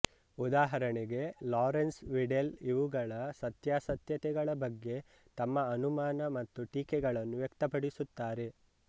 ಉದಾಹರಣೆಗೆ ಲಾರೆನ್ಸ್ ವಿಡೆಲ್ ಇವುಗಳ ಸತ್ಯಾಸತ್ಯತೆಗಳ ಬಗ್ಗೆ ತಮ್ಮ ಅನುಮಾನ ಮತ್ತು ಟೀಕೆಗಳನ್ನು ವ್ಯಕ್ತಪಡಿಸುತ್ತಾರೆ